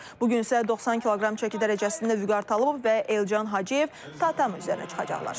Bu gün isə 90 kq çəki dərəcəsində Vüqar Talıbov və Elcan Hacıyev tatami üzərinə çıxacaqlar.